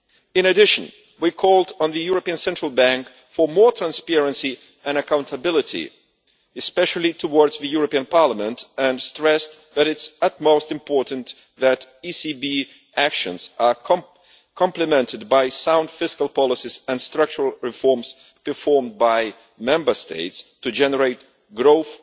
In addition, we called on the European Central Bank for more transparency and accountability, especially towards the European Parliament, and stressed that it is of the utmost importance that ECB actions are complemented by sound fiscal policies and structural reforms performed by Member States to generate growth